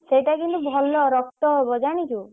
ସେଇଟା କିନ୍ତୁ ଭଲ ରକ୍ତ ହବ ଜାଣିଛୁ?